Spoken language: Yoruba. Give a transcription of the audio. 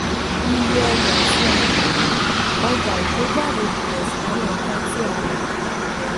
iye ọjà tí a tà: ọjà ìkójáde + àwọn ǹkan tí a rà.